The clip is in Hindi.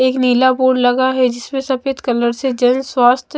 एक नीला बोर्ड लगा है जिसमे सफ़ेद कलर से जन स्वास्थ्य ---